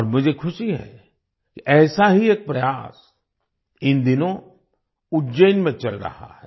और मुझे खुशी है कि ऐसा ही एक प्रयास इन दिनों उज्जैन में चल रहा है